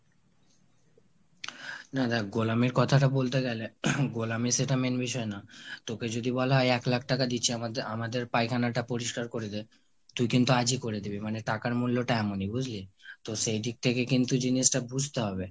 না দ্যাখ গোলামির কথাটা বলতে গেলে গোলামি সেটা main বিষয় না। তোকে যদি বলা হয় এক লাখ টাকা দিচ্ছি আমাদে~ আমাদের পায়খানাটা পরিষ্কার করে দে তুই কিন্তু আজই করে দিবি মানে টাকার মূল্যটা এমনই বুঝলি ? তো সেইদিক থেকে কিন্তু জিনিসটা বুঝতে হবে।